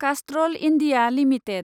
Castrol India limited